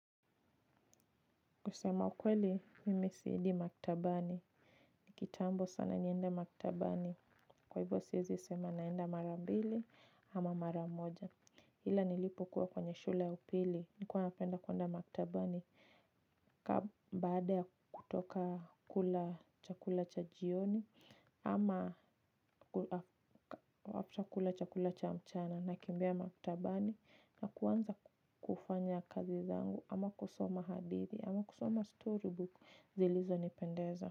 Kusema ukweli, mimi siendi maktabani. Ni kitambo sana niende maktabani. Kwa hivyo siezi sema naenda mara mbili ama mara moja. Ila nilipokuwa kwenye shule ya upili. Nikuwa napenda kuenda maktabani. Baada ya kutoka kula chakula cha jioni. Ama after kula chakula cha mchana nakimbia maktabani. Na kuanza kufanya kazi zangu ama kusoma hadithi ama kusoma storybook. Zilizonipendeza.